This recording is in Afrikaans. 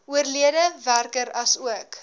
oorlede werker asook